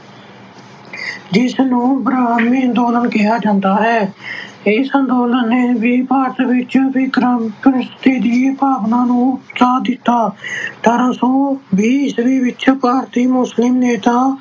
ਜਿਸਨੂੰ ਅੰਦੋਲਨ ਕਿਹਾ ਜਾਂਦਾ ਹੈ ਇਸ ਅੰਦੋਲਨ ਨੇ ਵੀ ਭਾਰਤ ਵਿੱਚ ਕ੍ਰਾਂਤੀ ਦੀ ਭਾਵਨਾ ਨੂੰ ਉਤਸ਼ਾਹ ਦਿੱਤਾ ਅਠਾਰਾਂ ਸੌ ਵੀਹ ਈਸਵੀ ਵਿੱਚ ਭਾਰਤੀ ਮੁਸਲਿਮ ਨੇਤਾ